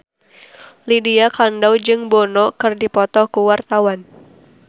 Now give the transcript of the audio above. Lydia Kandou jeung Bono keur dipoto ku wartawan